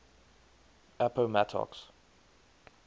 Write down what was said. appomattox